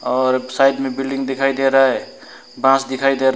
और साइड में बिल्डिंग दिखाई दे रहा है बास दिखाई दे--